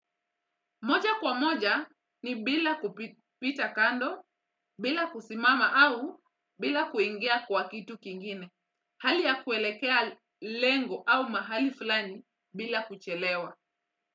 Moja kwa moja ni bila kupita kando, bila kusimama au bila kuingia kwa kitu kingine. Hali ya kuelekea lengo au mahali fulani bila kuchelewa.